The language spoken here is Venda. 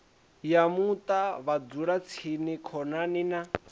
ya muṱa vhadzulatsini khonani na